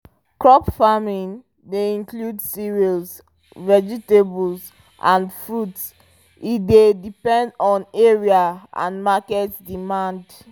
crop farming dey include cereals vegetables and fruits e dey depend on area and market demand